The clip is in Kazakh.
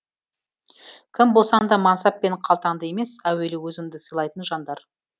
кім болсаң да мансап пен қалтаңды емес әуелі өзіңді сыйлайтын жандар